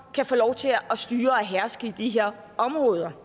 kan få lov til at styre og herske i de her områder